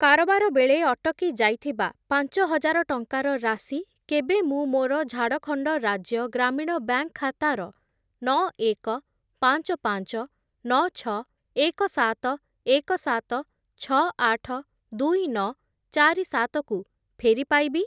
କାରବାର ବେଳେ ଅଟକି ଯାଇଥିବା ପାଞ୍ଚ ହଜାର ଟଙ୍କାର ରାଶି କେବେ ମୁଁ ମୋର ଝାଡ଼ଖଣ୍ଡ ରାଜ୍ୟ ଗ୍ରାମୀଣ ବ୍ୟାଙ୍କ୍‌ ଖାତାର ନଅ, ଏକ, ପାଞ୍ଚ, ପାଞ୍ଚ, ନଅ, ଛଅ, ଏକ, ସାତ, ଏକ, ସାତ, ଛଅ, ଆଠ, ଦୁଇ, ନଅ, ଚାରି, ସାତ କୁ ଫେରି ପାଇବି?